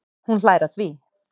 Hún hlær að því.